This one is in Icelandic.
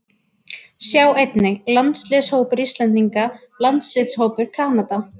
Sjá einnig: Landsliðshópur Íslendinga Landsliðshópur Kanada